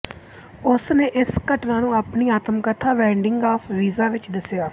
ਉਸ ਨੇ ਇਸ ਘਟਨਾ ਨੂੰ ਆਪਣੀ ਆਤਮਕਥਾ ਵੇਟਿੰਗ ਫ਼ਾਰ ਵੀਜ਼ਾ ਵਿੱਚ ਦੱਸਿਆ